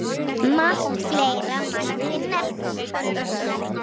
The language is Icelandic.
Margt fleira mætti nefna.